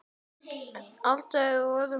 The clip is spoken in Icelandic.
Ég varð að drífa mig.